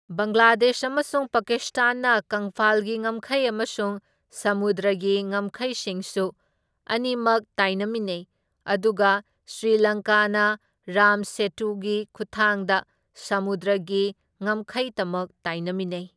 ꯕꯪꯒ꯭ꯂꯥꯗꯦꯁ ꯑꯃꯁꯨꯡ ꯄꯀꯤꯁꯇꯥꯟꯅ ꯀꯪꯐꯥꯜꯒꯤ ꯉꯝꯈꯩ ꯑꯃꯁꯨꯡ ꯁꯃꯨꯗ꯭ꯔꯒꯤ ꯉꯝꯈꯩꯁꯤꯡꯁꯨ ꯑꯅꯤꯃꯛ ꯇꯥꯏꯅꯃꯤꯟꯅꯩ, ꯑꯗꯨꯒ ꯁ꯭ꯔꯤ ꯂꯪꯀꯥꯅ ꯔꯥꯝ ꯁꯦꯇꯨꯒꯤ ꯈꯨꯠꯊꯥꯡꯗ ꯁꯃꯨꯗ꯭ꯔꯒꯤ ꯉꯝꯈꯩꯇꯃꯛ ꯇꯥꯏꯅꯃꯤꯟꯅꯩ꯫